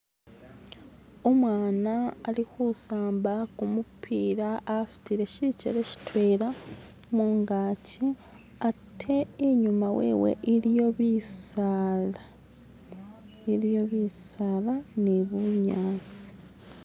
Umwana alikusamba gumupira asudire shigeere shidwena mungajji ate inyuma wewe iliyo bisala, iliyo bisala ni bunyasi.